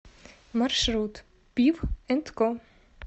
маршрут пив энд ко